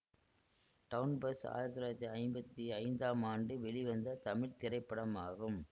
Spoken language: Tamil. டவுன் பஸ் ஆயிரத்தி தொள்ளாயிரத்தி ஐம்பத்தி ஐந்தாம் ஆண்டு வெளிவந்த தமிழ் திரைப்படமாகும்